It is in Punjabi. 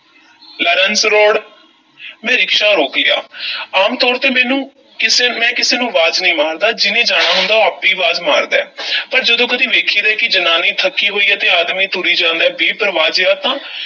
ਲਾਰੰਸ road ਮੈਂ ਰਿਕਸ਼ਾ ਰੋਕ ਲਿਆ ਆਮ ਤੌਰ 'ਤੇ ਮੈਨੂੰ ਕਿਸੇ ਮੈਂ ਕਿਸੇ ਨੂੰ 'ਵਾਜ ਨਹੀਂ ਮਾਰਦਾ ਜਿਨ੍ਹੇ ਜਾਣਾ ਹੁੰਦਾ ਉਹ ਆਪੇ ਹੀ ਮਾਰਦਾ ਏ ਪਰ ਜਦੋਂ ਕਦੀ ਵੇਖੀਦਾ ਐ ਕਿ ਜਨਾਨੀ ਥੱਕੀ ਹੋਈ ਐ ਤੇ ਆਦਮੀ ਤੁਰੀ ਜਾਂਦਾ ਐ, ਬੇਪਰਵਾਹ ਜਿਹਾ ਤਾਂ